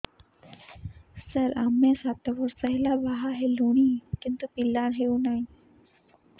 ସାର ଆମେ ସାତ ବର୍ଷ ହେଲା ବାହା ହେଲୁଣି କିନ୍ତୁ ପିଲା ହେଉନାହିଁ